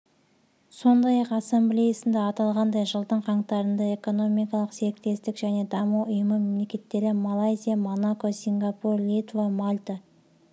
сондай-ақ ассамблеясында аталғандай жылдың қаңтарында экономикалық серіктестік және даму ұйымы мемлекеттері малайзия монако сингапур литва мальта